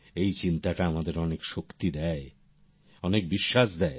এই চিন্তাটা আমাদের অনেক শক্তি দেয় অনেক বিশ্বাস দেয়